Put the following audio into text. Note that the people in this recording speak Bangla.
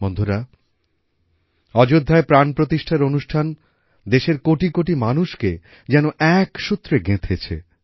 বন্ধুরা অযোধ্যায় প্রাণপ্রতিষ্ঠার অনুষ্ঠান দেশের কোটিকোটি মানুষকে যেন এক সূত্রে গেঁথেছে